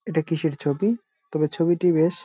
এইটা কিসের ছবি তবে ছবিটি বেশ।